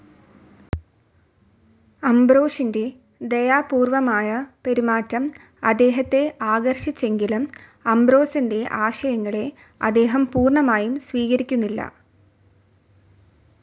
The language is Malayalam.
അംബ്രോഷിൻ്റെ ദയാപൂർവ്വമായ പെരുമാറ്റം അദ്ദേഹത്തെ ആകർഷിച്ചെങ്കിലും അംബ്രോസിൻ്റെ ആശയങ്ങളെ അദ്ദേഹം പൂർണമായും സ്വീകരിക്കുന്നില്ല.